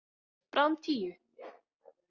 Bráðum tíu.